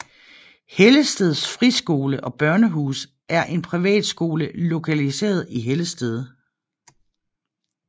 Hellested Friskole og Børnehus er en privatskole lokaliseret i Hellested